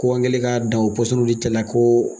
Ko an kɛlen ka da o ko